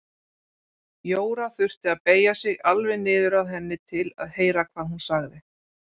Jóra þurfti að beygja sig alveg niður að henni til að heyra hvað hún sagði.